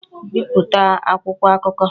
Bipụta akwụkwọ akụkọ!